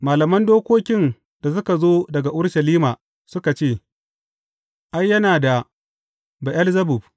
Malaman dokokin da suka zo daga Urushalima suka ce, Ai, yana da Be’elzebub!